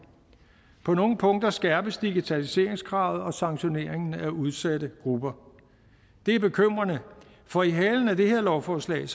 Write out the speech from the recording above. på nogle punkter skærpes digitaliseringskravet og sanktioneringen af udsatte grupper det er bekymrende for i halen af det her lovforslag